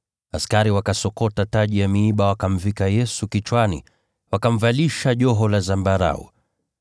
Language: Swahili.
Askari wakasokota taji ya miiba, wakamvika Yesu kichwani. Wakamvalisha joho la zambarau.